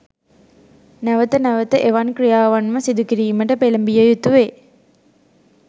නැවත නැවත එවන් ක්‍රියාවන්ම සිදුකිරීමට පෙළඹිය යුතුවේ.